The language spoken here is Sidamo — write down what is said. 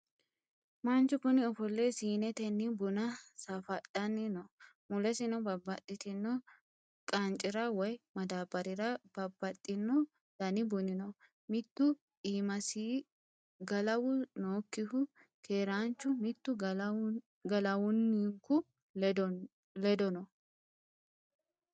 Manchu kuni ofolle siinnetenni buna safadhanni no. mulesino babaxitinno qaancira woy madabarrara babaxino dani buni no mitu iimasi galawu nookkihu keeranchu mitu galawunku ledono.